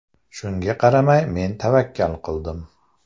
Shunga qaramay men tavakkal qildim.